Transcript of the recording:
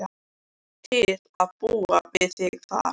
Til að búa við þig þar.